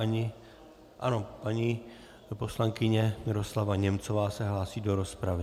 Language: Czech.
- Ano, paní poslankyně Miroslava Němcová se hlásí do rozpravy.